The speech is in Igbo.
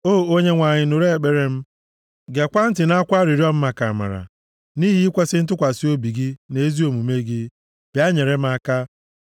O Onyenwe anyị, nụrụ ekpere m, gekwaa ntị nʼakwa arịrịọ m maka amara; nʼihi ikwesi ntụkwasị obi gị na ezi omume gị, bịa nyere m aka.